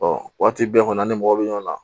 waati bɛɛ kɔni an ni mɔgɔ bɛ ɲɔgɔn na